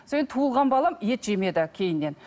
содан кейін туылған балам ет жемеді кейіннен